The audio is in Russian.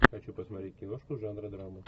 хочу посмотреть киношку жанра драма